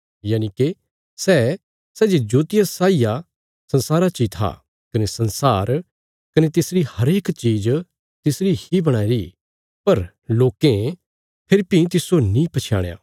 यनिके सै सै जे ज्योतिया साई आ संसारा ची था कने संसार कने तिसरी हरेक चीज़ तिसरी ही बणाईरी पर लोकें फेरी भीं तिस्सो नीं पछयाणया